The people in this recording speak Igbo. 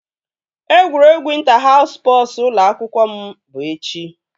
Egwuregwu ịnta haus spọsu ụlọ akwụkwọ m bụ echi